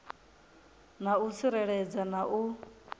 na u tsireledzea na u